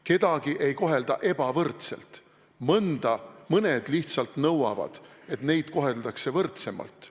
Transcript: Kedagi ei kohelda ebavõrdselt, mõned lihtsalt nõuavad, et neid koheldaks võrdsemalt.